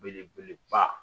Belebeleba